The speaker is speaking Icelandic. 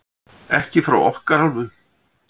Ekki frá okkar hálfu.